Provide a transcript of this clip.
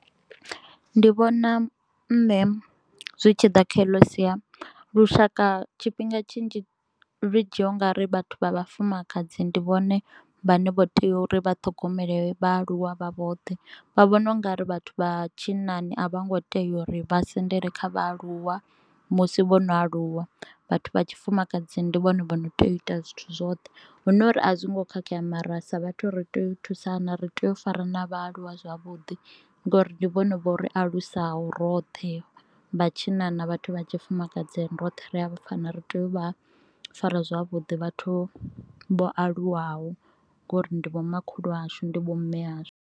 Ndi vhona nṋe zwi tshi ḓa kha eḽo sia lushaka tshifhinga tshinzhi ri dzhia ungauri vhathu vha vhafumakadzi ndi vhone vhane vho tea uri vhathogomele vha aluwa vha vhoṱhe, vha vhona ungari vhathu vha tshinnani a vho ngo tea uri vha sendele kha vhaaluwa musi vho no aluwa, vhathu vha tshifumakadzini ndi vhone vhono tea u ita zwithu zwoṱhe. Hu no uri a zwongo khakhea mara sa vhathu ri tea thusana, ri tea u fara na vhaaluwa zwavhuḓi ngori ndi vhona vho ri alusaho roṱhe vhatshinnani na vhathu vha tshifumakadzi roṱhe ri a fana ri tea u vha fara zwavhuḓi vhathu vho aluwaho ngori ndi vhomakhulu ashu ndi vho mme ashu.